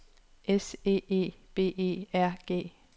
S E E B E R G